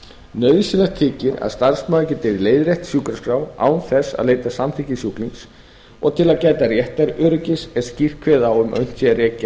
rekjanlegar nauðsynlegt þykir að starfsmaður geti leiðrétt sjúkraskrá án þess að leita samþykkis sjúklings og til að gæta réttaröryggis er skýrt kveðið á um að unnt sé að rekja